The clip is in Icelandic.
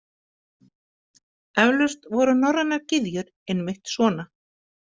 Eflaust voru norrænar gyðjur einmitt svona.